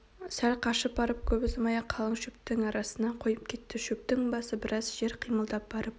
сәл қашып барып көп ұзамай-ақ қалың шөптің арасына қойып кетті шөптің басы біраз жер қимылдап барып